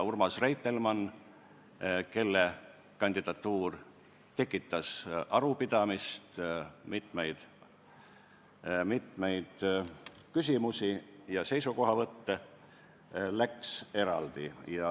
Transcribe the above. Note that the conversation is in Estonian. Urmas Reitelmanni kandidatuur tekitas arupidamist, mitmeid küsimusi ja seisukohavõtte ning ka see läks saali eraldi.